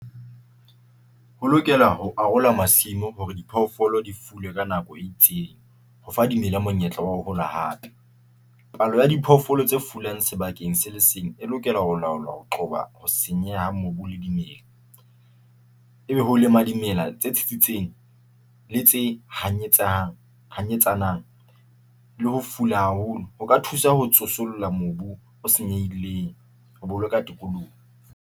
Ho lokela ho arolwa masimo hore diphoofolo di fule ka nako e itseng ho fa dimela monyetla wa ho hola hape. Palo ya diphoofolo tse dulang sebakeng se le seng e lokela ho laola ho qoba ho senyeha mobu le dimela, ebe ho lema dimela tse le tse hanyetsang hanyetsana le ho fula haholo hoka thusa ho tsosolla mobu o senyehileng ho boloka tikoloho.